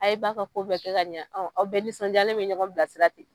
A ye ba ka ko bɛɛ kɛ ɲa aw bɛɛ nisɔndiyalen be ɲɔgɔn bilasira ten